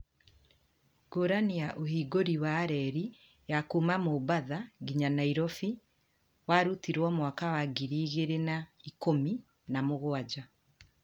ngũrani ya ũhingũri wa reri ya kuma mombatha nginya nairofi warutirwo mwaka wa ngiri igiri na ikũmi na mũgwanja